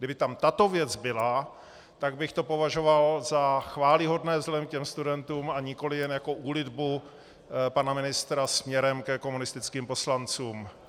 Kdyby tam tato věc byla, tak bych to považoval za chvályhodné vzhledem k těm studentům, a nikoliv jen jako úlitbu pana ministra směrem ke komunistickým poslancům.